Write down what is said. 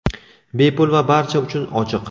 bepul va barcha uchun ochiq.